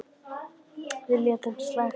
En við létum slag standa.